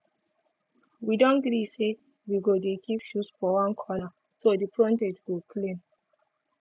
we don gree say we go dey keep shoes for one corner so di frontage go clean